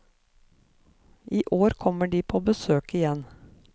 I år kommer de på besøk igjen.